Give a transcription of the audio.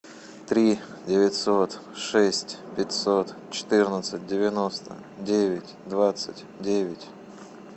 три девятьсот шесть пятьсот четырнадцать девяносто девять двадцать девять